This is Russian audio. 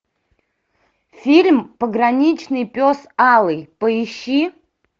фильм пограничный пес алый поищи